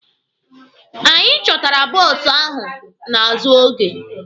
Anyị chọtara bọọsụ ahụ n'azụ oge.